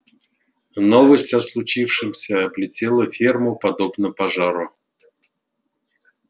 новость о случившемся облетела ферму подобно пожару